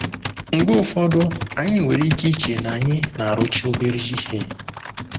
Mgbe ụfọdụ, anyị nwere ike iche na anyị na-arụcha obere ihe.